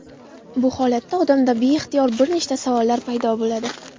Bu holatda odamda beixtiyor bir nechta savollar paydo bo‘ladi.